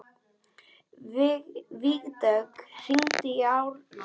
Vígdögg, hringdu í Árna.